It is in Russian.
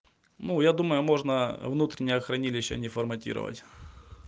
ну я думаю можно внутреннее хранилище не форматировать